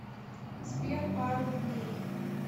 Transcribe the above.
сбер пару дней